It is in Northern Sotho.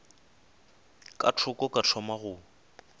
ka thoko ka thoma go